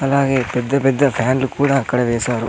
అలాగే పెద్ద పెద్ద ఫ్యాన్లు కూడా అక్కడ వేశారు.